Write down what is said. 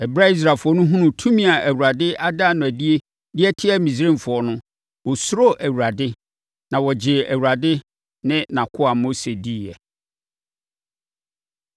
Ɛberɛ a Israelfoɔ hunuu tumi a Awurade ada no adie de atia Misraimfoɔ no, wɔsuroo Awurade, na wɔgyee Awurade ne nʼakoa Mose diiɛ.